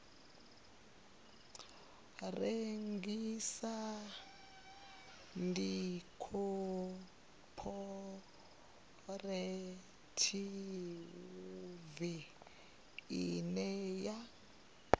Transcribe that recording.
rengisa ndi khophorethivi ine ya